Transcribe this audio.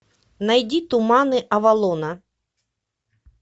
найди туманы авалона